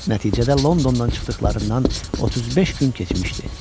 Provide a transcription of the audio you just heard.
Nəticədə Londondan çıxdıqlarından 35 gün keçmişdi.